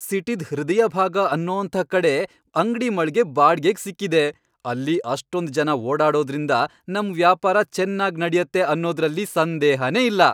ಸಿಟಿದ್ ಹೃದಯಭಾಗ ಅನ್ನೋಂಥ ಕಡೆ ಅಂಗ್ಡಿ ಮಳ್ಗೆ ಬಾಡ್ಗೆಗ್ ಸಿಕ್ಕಿದೆ, ಅಲ್ಲಿ ಅಷ್ಟೊಂದ್ ಜನ ಓಡಾಡೋದ್ರಿಂದ ನಮ್ ವ್ಯಾಪಾರ ಚೆನ್ನಾಗ್ ನಡ್ಯತ್ತೆ ಅನ್ನೋದ್ರಲ್ಲಿ ಸಂದೇಹನೇ ಇಲ್ಲ.